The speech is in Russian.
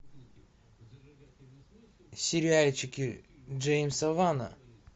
сериальчики джеймса вана